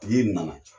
Tigi nana